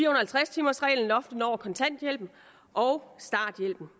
og halvtreds timers reglen loftet over kontanthjælpen og starthjælpen